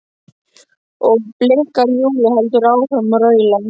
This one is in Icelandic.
og blikkar Júlíu, heldur áfram að raula.